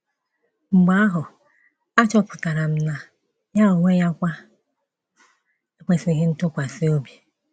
Mgbe ahụ, achọpụtara m na ya onwe ya kwa ekwesịghị ntụkwasị obi!